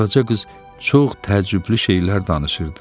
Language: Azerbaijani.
Qaraca qız çox təəccüblü şeylər danışırdı.